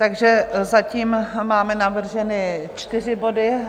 Takže zatím máme navrženy čtyři body.